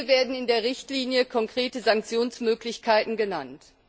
Hier werden in der Richtlinie konkrete Sanktionsmöglichkeiten genannt.